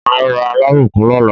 Màá ra alábùkún lọ́la.